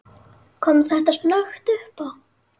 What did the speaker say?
Kom þetta snöggt uppá?